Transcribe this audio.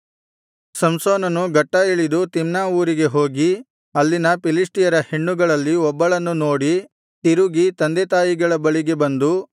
ಸಂಸೋನನು ಗಟ್ಟಾ ಇಳಿದು ತಿಮ್ನಾ ಊರಿಗೆ ಹೋಗಿ ಅಲ್ಲಿನ ಫಿಲಿಷ್ಟಿಯರ ಹೆಣ್ಣುಗಳಲ್ಲಿ ಒಬ್ಬಳನ್ನು ನೋಡಿ ತಿರುಗಿ ತಂದೆತಾಯಿಗಳ ಬಳಿಗೆ ಬಂದು